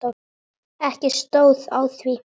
Ekki stóð á því.